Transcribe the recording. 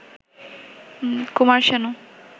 Kumar Sanu